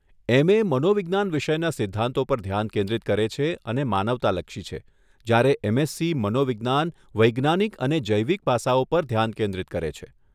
એમ. A. મનોવિજ્ઞાન વિષયના સિદ્ધાંતો પર ધ્યાન કેન્દ્રિત કરે છે અને માનવતાલક્ષી છે, જ્યારે એમ. એસસી. મનોવિજ્ઞાન વૈજ્ઞાનિક અને જૈવિક પાસાઓ પર ધ્યાન કેન્દ્રિત કરે છે.